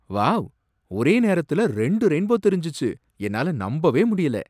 Wow! ஒரே நேரத்துல ரெண்டு ரெயின்போ தெரிஞ்சுச்சு, என்னால நம்பவே முடியல.